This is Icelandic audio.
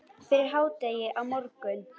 Fyrir hádegi á morgun.